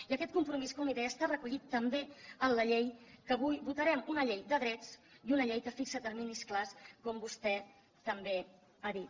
i aquest compromís com li deia està recollit també en la llei que avui votarem una llei de drets i una llei que fixa terminis clars com vostè també ha dit